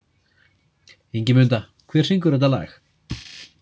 Ingimunda, hver syngur þetta lag?